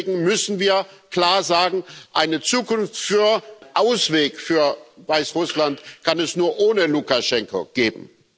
Deswegen müssen wir klar sagen Eine Zukunft, einen Ausweg für Weißrussland, kann es nur ohne Lukaschenko geben.